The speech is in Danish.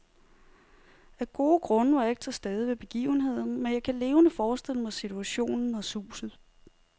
Af gode grunde var jeg ikke til stede ved begivenheden, men jeg kan levende forestille mig situationen og suset.